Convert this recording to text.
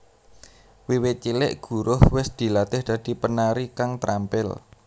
Wiwit cilik Guruh wis dilatih dadi penari kang trampil